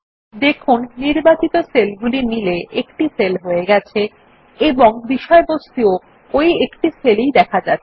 দেখুন নির্বাচিত সেলগুলি মিলে একটি সেল হয়ে গেছে এবং বিষয়বস্তুও এই একই সেলে দেখা যাচ্ছে